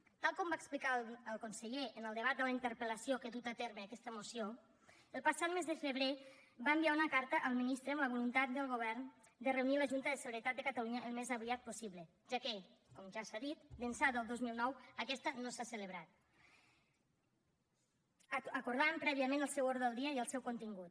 tal com va explicar el conseller en el debat de la interpel·lació que ha dut a terme aquesta moció el passat mes de febrer va enviar una carta al ministre amb la voluntat del govern de reunir la junta de seguretat de catalunya al més aviat possible ja que com ja s’ha dit d’ençà del dos mil nou aquesta no s’ha celebrat acordant prèviament el seu ordre del dia i el seu contingut